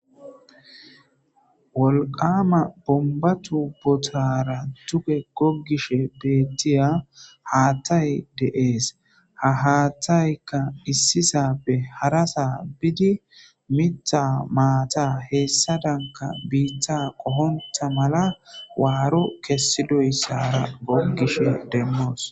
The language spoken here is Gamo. wolqama bomba tu botara tuge goggish beettiya haattay deees ha haatthaykka issisappe hara saa bidi mitha maata heessa danka biittha qohonta mala waaro kessidoyssara goggish demmoos